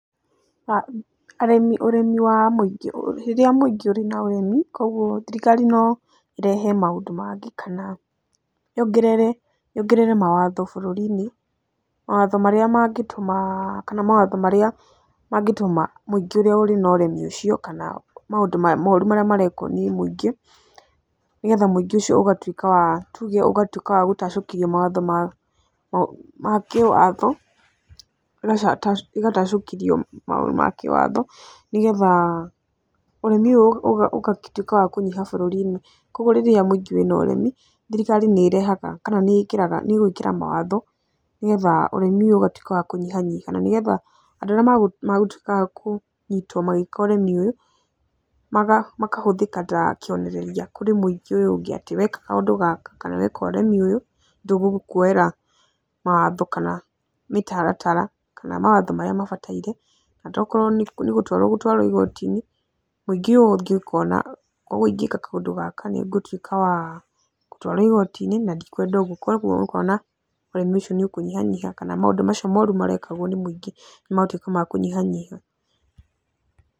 Ũremi wa mũingi, rĩrĩa mũingĩ ũrĩ na ũremi kũguo thirikari no ĩrehe maũndũ mangĩ kana yongerere mawatho bũrũri-inĩ mawatho marĩa mangĩtũma kana mawatho marĩa mangĩtũma mũingĩ ũrĩa ũrĩ na ũremi ũcio kana maũndũ moru marĩa marekwo nĩ mũingĩ, nĩgetha mũingĩ ũcio ũgatuĩka wa tuge ũgatuĩka wa gũtacũkĩrio mawatho ma kĩwatho, ĩgatacũkĩrio maũndũ ma kĩwatho, nĩgetha ũremi ũyũ ũgagĩtuĩka wa kũnyiha bũrũri-inĩ. Kũguo rĩrĩa mũingĩ wĩ na ũremi, thirikari nĩ ĩrehaga kana nĩ ĩkĩraga, nĩ ĩgwĩkĩra mawatho nĩgetha ũremi ũyũ ũgatuĩka wa kũnyihanyiha na nĩ getha andũ arĩa magũtuĩka a kũnyitwo magĩka ũremi ũyũ, makahũthĩka ta kĩonereria kũrĩ mũingĩ ũyũ ũngĩ atĩ weka kaũndũ gaka kana weka ũremi ũyũ tũgũkuoera mawatho kana mĩtaratara kana mawatho marĩa mabataraire okorwo nĩ gũtwarwo ũgũtwarwo igoti-inĩ mũingĩ ũyũ ũngĩ ũkona koguo ingĩka kaũndũ gaka nĩ ngũtuĩka wa gũtwarwo igoti-inĩ na ndikwenda ũguo koguo ũkona ũremi ũcio nĩ ũkũnyihanyiha kana maũndũ macio moru marekagwo nĩ mũingĩ nĩ magũtuĩka ma kũnyihanyiha.